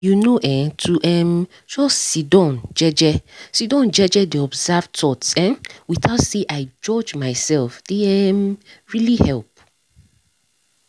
you know[um]to um just sidon jeje sidon jeje dey observe thoughts um without say i judge myself dey um really help